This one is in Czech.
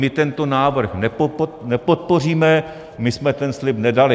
My tento návrh nepodpoříme, my jsme ten slib nedali.